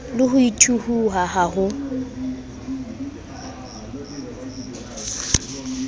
le ho thuhiwa ha ho